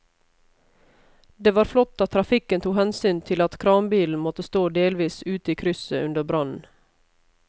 Det var flott at trafikken tok hensyn til at kranbilen måtte stå delvis ute i krysset under brannen.